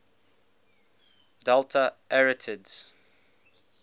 delta arietids